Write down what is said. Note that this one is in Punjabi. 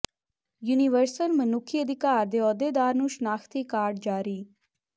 ਯੂਨੀਵਰਸਲ ਮਨੁੱਖੀ ਅਧਿਕਾਰ ਦੇ ਅਹੁਦੇਦਾਰ ਨੂੰ ਸ਼ਨਾਖ਼ਤੀ ਕਾਰਡ ਜਾਰੀ